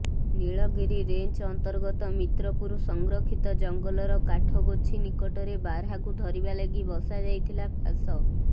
Nilgiri range ଅନ୍ତର୍ଗତ ମିତ୍ରପୁର ସଂରକ୍ଷିତ ଜଙ୍ଗଲର କାଠଗୋଛି ନିକଟରେ ବାର୍ହାକୁ ଧରିବା ଲାଗି ବସା ଯାଇଥିଲା ଫାଶ